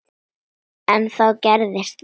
En þá gerðist það.